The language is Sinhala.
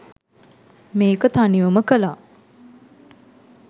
මේක තනිවම කලා.